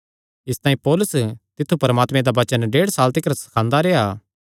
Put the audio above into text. इसतांई पौलुस तित्थु परमात्मे दा वचन ढेड साल तिकर सखांदा रेह्आ